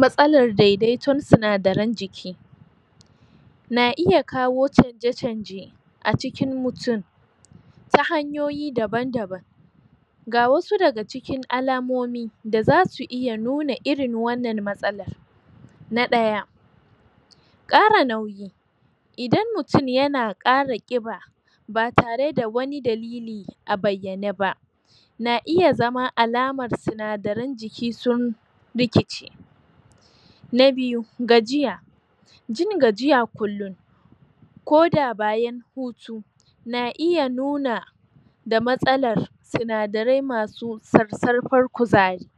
Matsalar dedaiton sinadaren jiki na iya kawo canje canje acikin mutun ta hanyoyi daban daban ga wasu daga cikin alamomi da zasu iya nuna irin wannan matsalar na ɗaya ƙara nauyi idan mutun yana ƙara ƙiba batare da wani da lili a bayyane ba na iya zama alamar sinadaren jiki sun rikice na biyu gajiya jin gajiya kulum koda bayan hutu na iya nuna da matsalar sina darai masu sarsarfar kuzari